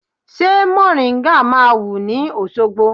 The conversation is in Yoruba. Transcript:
Ṣé mòríńgà máa wù ní Òṣogbo?